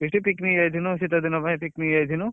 Feast picnic ଯାଇଥିନୁ, ଶୀତଦିନ ପାଇଁ picnic ଯାଇଥିନୁ।